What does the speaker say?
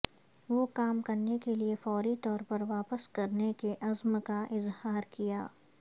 وہ کام کرنے کے لئے فوری طور پر واپس کرنے کے عزم کا اظہار کیا